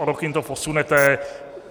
O rok jim to posunete.